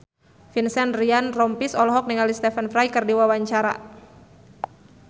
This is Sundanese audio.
Vincent Ryan Rompies olohok ningali Stephen Fry keur diwawancara